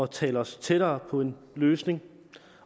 tale os tættere på en løsning